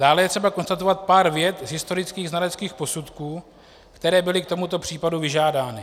Dále je třeba konstatovat pár vět z historických znaleckých posudků, které byly k tomuto případu vyžádány.